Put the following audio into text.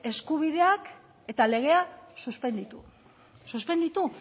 eskubideak eta legea suspenditu suspenditu